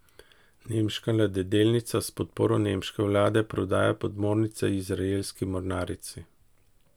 Nemška ladjedelnica s podporo nemške vlade prodaja podmornice izraelski mornarici.